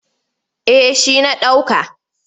Eh shi na ɗauka.